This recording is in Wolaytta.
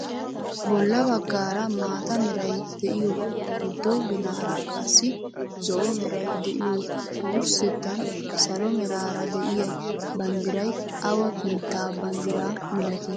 Bolla baggaara maata meray de'iyoo giddo ginaara qassi zo'o meray de'iyoo wursettan salo meraara de'iyaa banddiray awa biittaa banddiraa milatii?